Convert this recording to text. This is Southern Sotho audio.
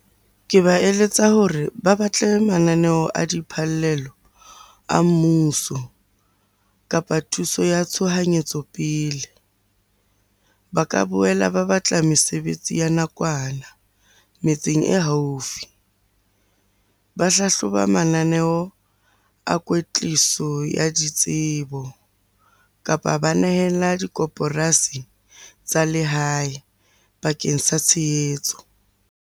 Ke ba eletsa hore ba batle mananeo a diphallelo a mmuso, kapa thuso ya tshohanyetso pele. Ba ka boela ba batla mesebetsi ya nakwana metseng e haufi. Ba hlahloba mananeo a kwetliso ya ditsebo, kapa ba nehela dikoporasi tsa lehae bakeng sa tshehetso.